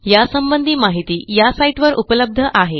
यासंबंधी माहिती या साईटवर उपलब्ध आहे